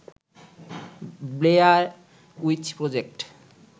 Blair Witch project